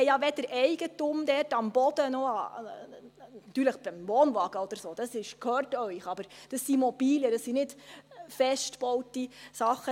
Sie haben dort ja weder Eigentum an Boden noch an … natürlich an Wohnwagen oder so, der gehört Ihnen, aber das sind Mobilien, das sind keine festgebauten Sachen.